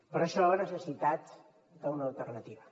per això la necessitat d’una alternativa